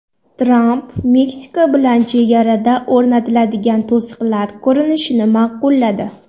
Tramp Meksika bilan chegarada o‘rnatiladigan to‘siqlar ko‘rinishini ma’qulladi.